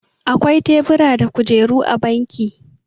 akwai tebura da kujeru a banki